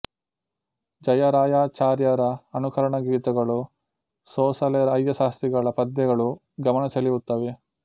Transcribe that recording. ಜಯರಾಯಾಚಾರ್ಯರ ಅನುಕರಣ ಗೀತಗಳು ಸೋಸಲೆ ಅಯ್ಯಾಶಾಸ್ತ್ರಿಗಳ ಪದ್ಯಗಳು ಗಮನ ಸೆಳೆಯುತ್ತವೆ